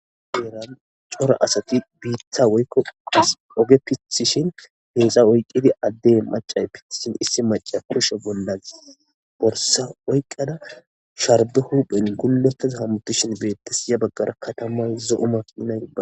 Heran cora asati biitha woykko a oge pithishin heexa oyqqidi addey macay pithishin issi maca kusho bollas borsa oyqqada shardo huphen gullotaz hamutishin beettes ya baggara katamay zouma inayipa.